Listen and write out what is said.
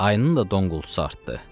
Ayının da donqultusu artdı.